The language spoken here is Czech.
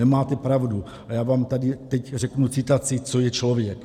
- Nemáte pravdu a já vám tady teď řeknu citaci, co je člověk.